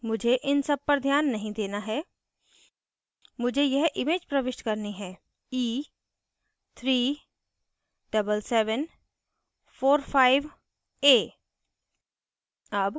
मुझे इन सब पर ध्यान नहीं देना है मुझे यह इमेज प्रविष्ट करनी है e37745a